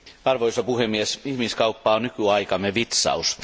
Arvoisa puhemies, ihmiskauppa on nykyaikamme vitsaus.